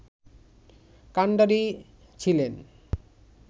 কান্ডারি ছিলেন